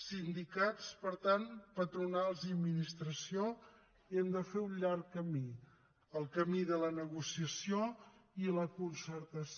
sindicats per tant patronals i administració hem de fer un llarg camí el camí de la negociació i la concertació